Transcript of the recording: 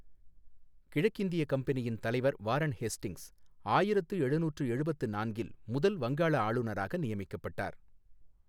கிழக்கிந்திய கம்பெனியின் தலைவர் வாரன் ஹேஸ்டிங்ஸ் ஆயிரத்து எழுநூற்று எழுபத்து நான்கில் முதல் வங்காள ஆளுநராக நியமிக்கப்பட்டார்.